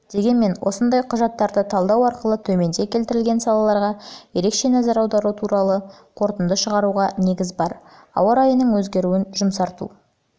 дегенмен осындай құжаттарды талдау арқылы төменде келтірілген салаларға ерекше назар аудару туралы қорытынды шығаруға негіз бар ауа райының өзгеруін жұмсарту